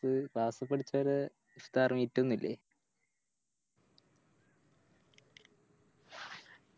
Class പഠിച്ചോലെ ഇഫ്‌താർ Meet ഒന്നുല്ലേ